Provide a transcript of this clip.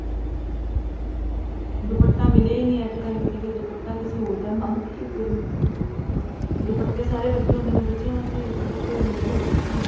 ਦੁਪੱਟਾ ਮਿਲਿਆ ਹੀ ਨੀ at a time ਤੇ ਫ਼ੇਰ ਦੁਪੱਟਾ ਕਿਸੇ ਹੋਰ ਦਾ ਮੰਗ ਕੇ ਫ਼ੇਰ ਲਿੱਤਾ ਸੀ ਦੁਪੱਟੇ ਸਾਰੇ ਵੱਡੇ ਹੁੰਦੇ ਨੇ ਬੱਚਿਆਂ ਵਾਸਤੇ ਦੁਪੱਟੇ ਲੰਬੇ ਹੁੰਦੇ ਨੇ ਨਾ ਉਹ